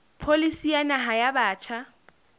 pholisi ya naha ya batjha